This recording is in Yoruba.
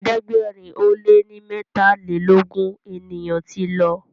ẹ̀ẹ́dẹ̀gbẹ̀rin o lẹ ní metalelogun ènìyàn tí ló